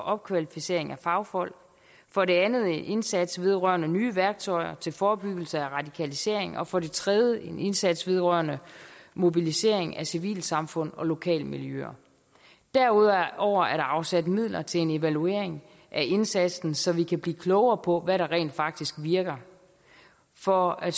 og opkvalificering af fagfolk for det andet en indsats vedrørende nye værktøjer til forebyggelse af radikalisering og for det tredje en indsats vedrørende mobilisering af civilsamfund og lokalmiljøer derudover er der afsat midler til en evaluering af indsatsen så vi kan blive klogere på hvad der rent faktisk virker for at